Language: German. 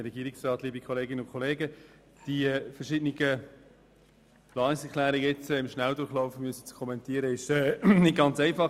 Die verschiedenen Planungserklärungen im Schnelldurchlauf zu kommentieren, ist nicht ganz einfach.